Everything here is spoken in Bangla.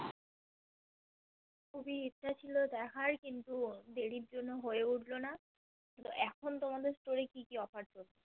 খুবই ইচ্ছা ছিল দেখার কিন্তু দেরির জন্য হয়ে উঠলো না তো এখন তোমাদের Store এ কি কি Offer চলছে